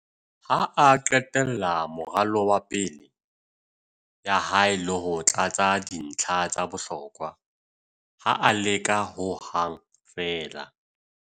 ha a qetella moralo wa pale ya hae le ho tlatsa dintlha tsa bohlokwa, ha a leka ho hang feela